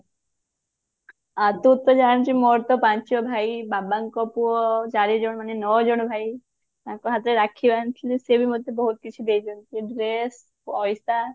ଆଉ ତୁ ତ ଜାଣିଛୁ ମୋର ତ ପାଞ୍ଚ ଭାଇ ବାବାଙ୍କ ପୁଅ ଚାରିଜଣ ମାନେ ନଅ ଜଣ ଭାଇ ତାଙ୍କ ହାତରେ ରାକ୍ଷୀ ବାନ୍ଧିଥିଲି ସେ ବି ମତେ ବହୁତ କିଛି ଦେଇଛନ୍ତି dress ପଇସା